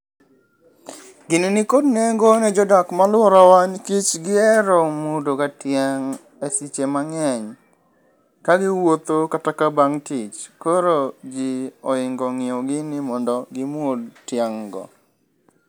Gino nikod nengo ne jodak malworawa nikech gihero muodogoga tiang' e seche mang'eny ka giwuotho kata ka bang' tich. Koro ji ohingo ng'iewo gini mondo gimuod tiang' go.